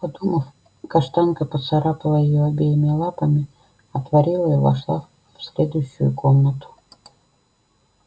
подумав каштанка поцарапала её обеими лапами отворила и вошла в следующую комнату